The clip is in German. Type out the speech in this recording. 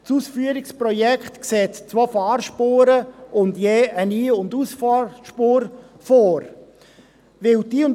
Das Ausführungsprojekt sieht zwei Fahrspuren und je eine Ein- und